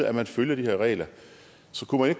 at man følger de her regler så kunne man